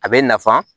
A bɛ nafan